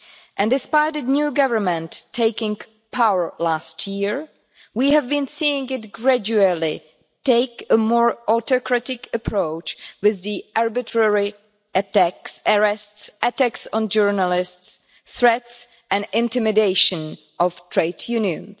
And despite a new government taking power last year, we have been seeing it gradually take a more autocratic approach with the arbitrary arrests, attacks on journalists, threats and intimidation of trade unions.